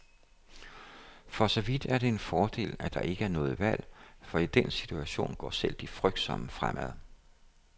For så vidt er det en fordel, at der ikke er noget valg, for i den situation går selv de frygtsomme fremad.